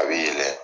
A bɛ yɛlɛ